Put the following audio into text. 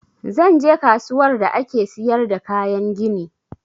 Zan je kasuwar da ake siyar da kayan gini